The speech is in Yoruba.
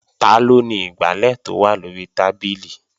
Taló ni igbálẹ̀ tó wà lóri tábìlì?